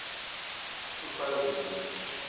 usandile